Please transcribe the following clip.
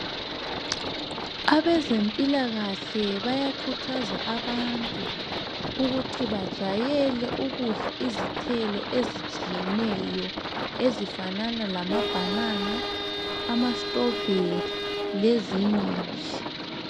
Abeze mpilakahle bayakhuthaza abantu ukuthi bajayele ukudla izithelo ezitshiyeneyo ezifanana lama banana, ama strawberry lezinye nje